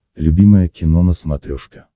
любимое кино на смотрешке